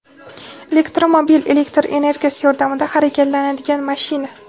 "Elektromobil – elektr energiyasi yordamida harakatlanadigan mashina".